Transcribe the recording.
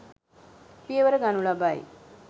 පියවර ගනු ලබයි.